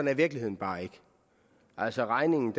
er virkeligheden bare ikke altså regningen